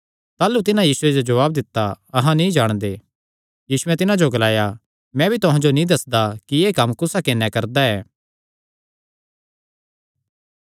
ताह़लू तिन्हां यीशुये जो जवाब दित्ता अहां नीं जाणदे यीशुयैं तिन्हां जो ग्लाया मैं भी तुहां जो नीं दस्सदा कि एह़ कम्म कुस हक्के नैं करदा ऐ